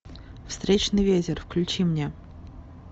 встречный ветер включи мне